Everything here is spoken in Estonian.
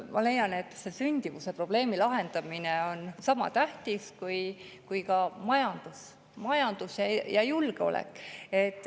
Ma leian, et sündimuse probleemi lahendamine on sama tähtis kui majandus ja julgeolek.